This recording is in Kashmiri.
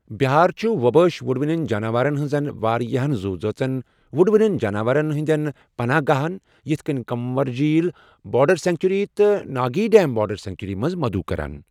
بِہار چھُ ووبٲش وُڑوٕنۍ جاناوارَن ہٕنٛزن واریاہن زوذٲژَن وُڑوٕنٮ۪ن جاناوارَن ہٕنٛدٮ۪ن پناہ گاہَن یِتھ کٔنۍ کنور جیٖل بٲرڈ سینکچری تہٕ ناگی ڈیم بٲرڈ سینکچریَس منٛز مدعو کران۔